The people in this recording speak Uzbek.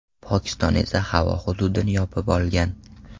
Pokiston esa havo hududini yopib olgan.